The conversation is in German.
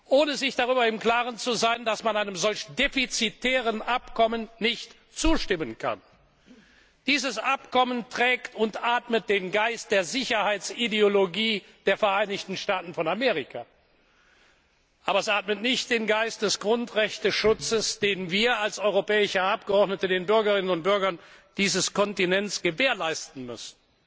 ohne sich darüber im Klaren zu sein, dass man einem solch defizitären Abkommen nicht zustimmen kann. Dieses Abkommen trägt und atmet den Geist der Sicherheitsideologie der Vereinigten Staaten von Amerika, aber es atmet nicht den Geist des Grundrechteschutzes, den wir als europäische Abgeordnete den Bürgerinnen und Bürgern dieses Kontinents gewährleisten müssen.